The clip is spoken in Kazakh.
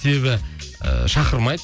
себебі ыыы шақырмайды